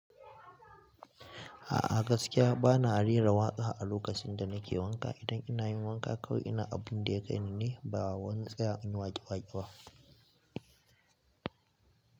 Gaskiya bana rera waƙa a lokacin da nake wanka. Idan ina yin wanka kawai ina abun da ya kaini ne ba wani tsaya in yi waƙe waƙe ba.